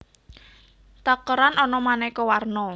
Takeran ana manéko warno